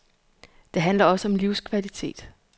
Det handler også om livskvalitet.